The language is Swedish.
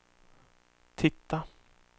titta